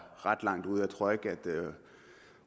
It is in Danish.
ret langt ude jeg tror ikke at